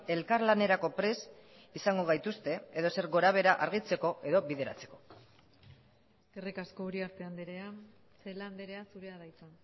elkarlanerako prest izango gaituzte edozer gorabehera argitzeko edo bideratzeko eskerrik asko uriarte andrea celaá andrea zurea da hitza